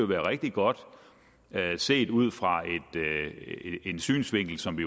være rigtig godt at se det ud fra en synsvinkel som vi